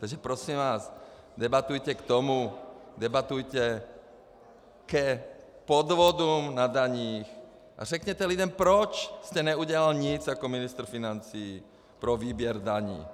Takže prosím vás, debatujte k tomu, debatujte k podvodům na daních a řekněte lidem, proč jste neudělal nic jako ministr financí pro výběr daní.